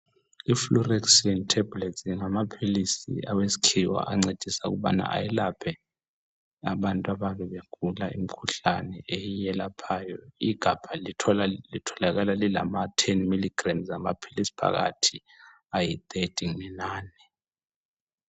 Ifluoxetine tablets ngamaphilisi awesikhiwa ancedisa ukubana ayelaphe abantu ababe begula imkhuhlane eyiyelaphayo, igabha litholakala lilama 10mg amaphilisi phakathi ayi 30 inani.